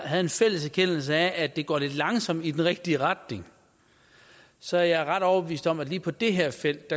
havde en fælles erkendelse af at det går lidt langsomt i den rigtige retning så er jeg ret overbevist om at det lige på det her felt